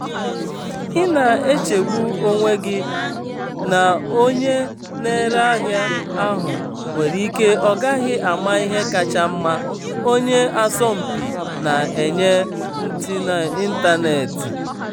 ị na-echegbu onwe gị na onye na-ere ahịa ahụ nwere ike ọ gaghị ama ihe kacha mma onye asọmpi na-enye n'ịntanetị.